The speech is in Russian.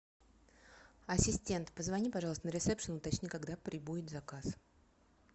ассистент позвони пожалуйста на ресепшн уточни когда прибудет заказ